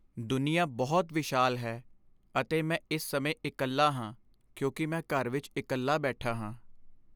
ਦੁਨੀਆ ਬਹੁਤ ਵਿਸ਼ਾਲ ਹੈ ਅਤੇ ਮੈਂ ਇਸ ਸਮੇਂ ਇਕੱਲਾ ਹਾਂ ਕਿਉਂਕਿ ਮੈਂ ਘਰ ਵਿਚ ਇਕੱਲਾ ਬੈਠਾ ਹਾਂ।